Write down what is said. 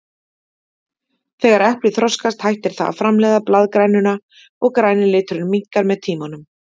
Þegar eplið þroskast hættir það að framleiða blaðgrænuna og græni liturinn minnkar með tímanum.